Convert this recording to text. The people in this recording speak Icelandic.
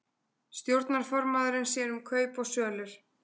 Stjórnarformaðurinn sér um kaup og sölur